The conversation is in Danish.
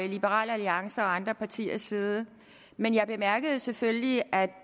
liberal alliances og andre partiers side men jeg bemærkede selvfølgelig at